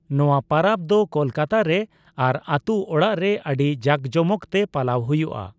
ᱱᱚᱣᱟ ᱯᱟᱨᱟᱵᱽ ᱫᱚ ᱠᱳᱞᱠᱟᱛᱟ ᱨᱮ ᱟᱨ ᱟᱛᱩ ᱚᱲᱟᱜ ᱨᱮ ᱟᱹᱰᱤ ᱡᱟᱠᱡᱚᱢᱚᱠ ᱛᱮ ᱯᱟᱞᱟᱣ ᱦᱩᱭᱩᱜᱼᱟ ᱾